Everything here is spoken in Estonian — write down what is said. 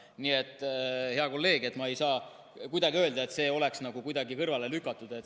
Nii et, hea kolleeg, ma ei saa kuidagi öelda, et see teema oleks kõrvale lükatud.